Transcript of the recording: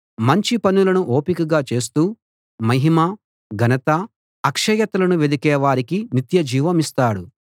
మంచి పనులను ఓపికగా చేస్తూ మహిమ ఘనత అక్షయతలను వెదికే వారికి నిత్యజీవమిస్తాడు